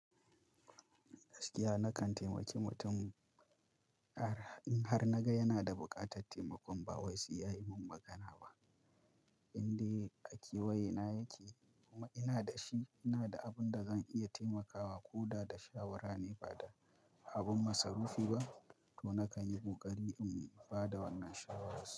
Gaskiya nakan temaki mutum in har naga yana da buƙatar taimako, ba wai sai ya yi min magana ba. Inde akewaye na yake kuma ina da shi, ina da abin da zan iya taimakawa ko da da shawara ne ba da abin masu rufi ba, to nakan yi ƙoƙari in ba da wannan shawararsa.